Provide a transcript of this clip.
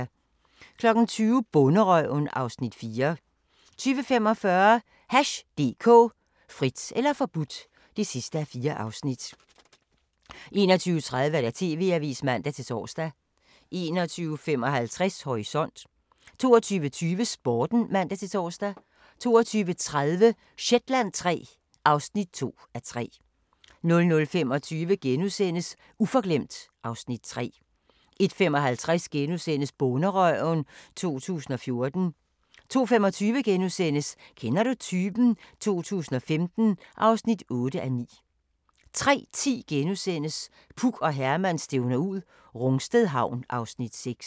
20:00: Bonderøven (Afs. 4) 20:45: Hash DK – Frit eller forbudt (4:4) 21:30: TV-avisen (man-tor) 21:55: Horisont 22:20: Sporten (man-tor) 22:30: Shetland III (2:3) 00:25: Uforglemt (Afs. 3)* 01:55: Bonderøven 2014 * 02:25: Kender du typen? 2015 (8:9)* 03:10: Puk og Herman stævner ud - Rungsted Havn (Afs. 6)*